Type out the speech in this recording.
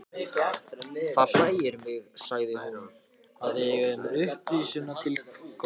Það hlægir mig, sagði hún,-að við eigum upprisuna til góða.